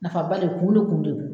Nafa ba de kun ne kun de don